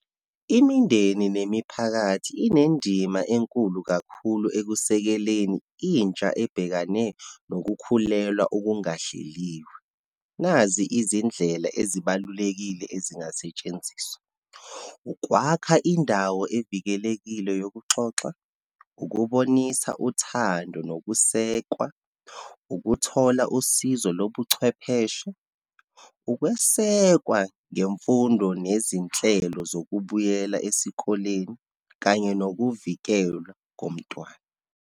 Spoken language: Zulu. Imindeni nemiphakathi inendima enkulu kakhulu ekusekeleni intsha ebhekane nokukhulelwa okungahleliwe. Nazi izindlela ezibalulekile ezingasetshenziswa, ukwakha indawo evikelekile yokuxoxa, ukubonisa uthando nokusekwa, ukuthola usizo lobuchwepheshe, ukwesekwa ngemfundo nezinhlelo zokubuyela esikoleni, kanye nokuvikelwa komntwana.